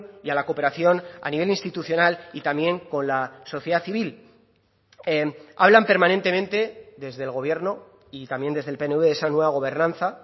y a la cooperación a nivel institucional y también con la sociedad civil hablan permanentemente desde el gobierno y también desde el pnv de esa nueva gobernanza